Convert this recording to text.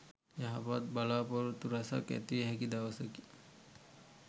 යහපත් බලා‍පොරොත්තු රැසක් ඇතිවිය හැකි දවසකි.